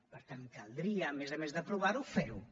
per tant caldria a més a més d’aprovar ho fer ho